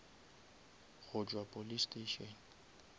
go tšwa police station